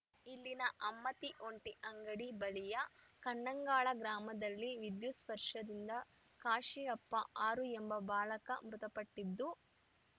ಇಲ್ಲಿನ ಅಮ್ಮತ್ತಿ ಒಂಟಿಯಂಗಡಿ ಬಳಿಯ ಕಣ್ಣಂಗಾಲ ಗ್ರಾಮದಲ್ಲಿ ವಿದ್ಯುತ್‌ ಸ್ಪರ್ಶದಿಂದ ಕಾಶಿಯಪ್ಪ ಆರು ಎಂಬ ಬಾಲಕ ಮೃತಪಟ್ಟಿದ್ದು